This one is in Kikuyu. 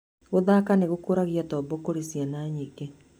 Gũthaka nĩ gũkũragia tombo kũrĩ ciana nyingĩ.